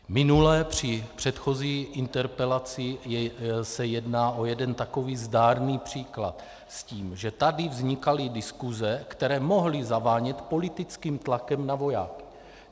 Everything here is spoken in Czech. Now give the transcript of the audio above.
Minule, při předchozí interpelaci, se jednalo o jeden takový zdárný příklad, s tím, že tady vznikaly diskuse, které mohly zavánět politickým tlakem na vojáky.